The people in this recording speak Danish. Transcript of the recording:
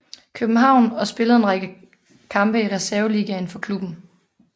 København og spillede en række kampe i reserveligaen for klubben